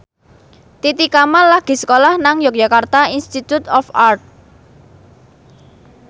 Titi Kamal lagi sekolah nang Yogyakarta Institute of Art